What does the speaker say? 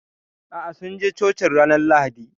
Aa, sun je Cocin ranar Lahadi.